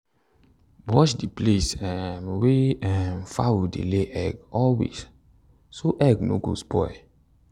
wash the place um wey um fowl dey lay egg always so egg no go spoil.